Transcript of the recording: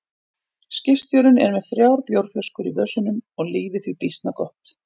Skipstjórinn er með þrjár bjórflöskur í vösunum og lífið því býsna gott.